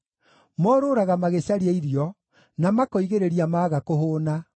Morũũraga magĩcaria irio, na makoigĩrĩria maga kũhũũna.